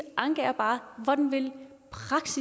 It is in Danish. anke hvordan vil